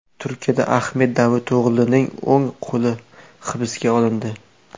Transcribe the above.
Turkiyada Ahmet Davuto‘g‘lining o‘ng qo‘li hibsga olindi.